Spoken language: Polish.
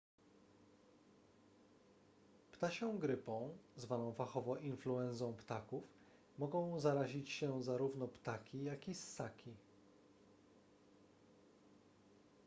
ptasią grypą zwaną fachowo influenzą ptaków mogą zarazić się zarówno ptaki jak i ssaki